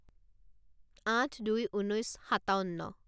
আঠ দুই ঊনৈছ সাতাৱন্ন